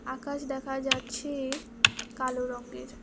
আকাশ দেখা যাচ্ছে কালো রঙ্গের।